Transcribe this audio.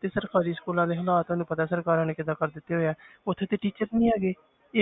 ਤੇ ਸਰਕਾਰੀ schools ਦੇ ਹਾਲਾਤ ਤੁਹਾਨੂੰ ਪਤਾ ਸਰਕਾਰਾਂ ਨੇ ਕਿੱਦਾਂ ਕਰ ਦਿੱਤੇ ਹੋਏ ਹੈ ਉੱਥੇ ਤੇ teacher ਨੀ ਹੈਗੇ